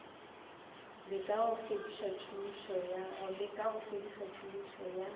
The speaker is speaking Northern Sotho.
leka go fediša tšhomišo ya